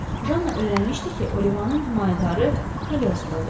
Janna öyrənmişdi ki, Olivanın himayədarı Kaloestrodur.